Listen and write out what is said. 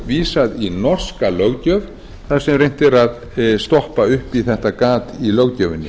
vísað í norska löggjöf þar sem reynt er að stoppa upp í þetta gat í löggjöfinni